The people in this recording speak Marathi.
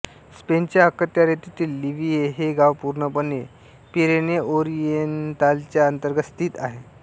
स्पेनच्या अखत्यारीतील लिव्हिए हे गाव पूर्णपणे पिरेनेओरिएंतालच्या आंतर्गत स्थित आहे